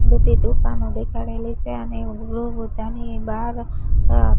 બધી દુકાનો દેખાડેલી સે અને તેની બાર અ--